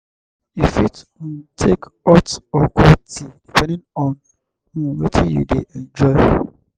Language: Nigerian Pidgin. you fit um take hot or cold tea depending on um wetin you dey enjoy